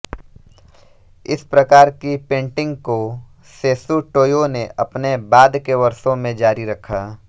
इस प्रकार की पेंटिंग को सेशु टोयो ने अपने बाद के वर्षों में जारी रखा